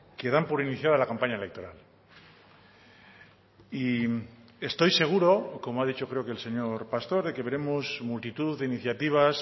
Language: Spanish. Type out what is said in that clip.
que dan por iniciada la campaña electoral y estoy seguro como ha dicho creo que el señor pastor de que veremos multitud de iniciativas